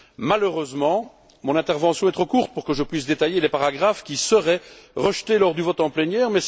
Malheureusement, mon intervention est trop courte pour que je puisse détailler les paragraphes qui seraient rejetés lors du vote en plénière.